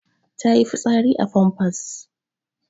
Ta yi fitsari a famfas.